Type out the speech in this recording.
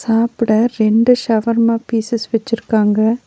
சாப்புட ரெண்டு ஷவர்மா பீசஸ் வெச்சிருக்காங்க.